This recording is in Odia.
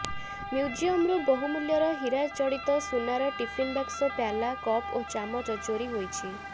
ମ୍ୟୁଜିୟମରୁ ବହୁମୂଲ୍ୟର ହୀରାଜଡିତ ସୁନାର ଟିଫିନ୍ ବାକ୍ସ ପ୍ୟାଲା କପ୍ ଓ ଚାମଚ ଚୋରି ହୋଇଛି